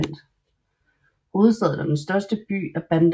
Hovedstaden og den største by er Bandar Lampung